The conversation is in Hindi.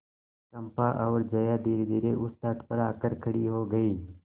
चंपा और जया धीरेधीरे उस तट पर आकर खड़ी हो गई